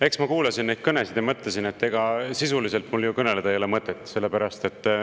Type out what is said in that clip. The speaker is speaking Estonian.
Eks ma kuulasin neid kõnesid ja mõtlesin, et ega mul ju sisuliselt mõtet kõnelda ei ole.